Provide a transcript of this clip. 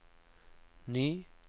ny